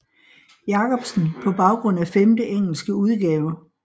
Jacobsen på baggrund af femte engelske udgave